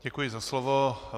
Děkuji za slovo.